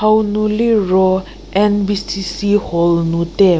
hau nu liro N_B_C_C hall nu te.